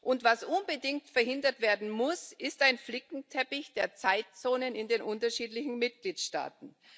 Und was unbedingt verhindert werden muss, ist ein Flickenteppich der Zeitzonen in den unterschiedlichen Mitgliedstaaten.